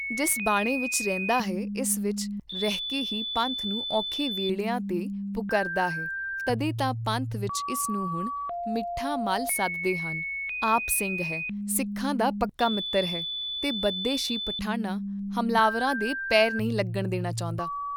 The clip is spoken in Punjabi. ਜਿਸ ਬਾਣੇ ਵਿਚ ਰਹਿੰਦਾ ਹੈ ਇਸ ਵਿਚ ਰਹਿਕੇ ਹੀ ਪੰਥ ਨੂੰ ਔਖੇ ਵੇਲਿਆਂ ਤੇ ਪੁੱਕਰਦਾ ਹੈ ਤਦੇ ਤਾਂ ਪੰਥ ਵਿਚ ਇਸ ਨੂੰ ਹੁਣ ' ਮਿੱਠਾ ਮੱਲ ਸੱਦਦੇ ਹਨ, ਆਪ ਸਿੰਘ ਹੈ, ਸਿੱਖਾਂ ਦਾ ਪੱਕਾ ਮਿਤ੍ਰ ਹੈ ਤੇ ਵਿਦੇਸ਼ੀ ਪਠਾਣਾਂ, ਹਮਲਾਆਵਰਾਂ ਦੇ ਪੇਰ ਨਹੀਂ ਲਗਣ ਦੇਣਾ ਚਾਹੁੰਦਾ।